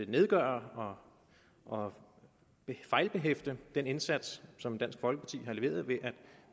nedgøre og fejlbehæfte den indsats som dansk folkeparti har leveret ved at